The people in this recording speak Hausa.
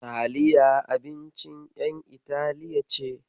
Taliya abincin ƴan Itali ce.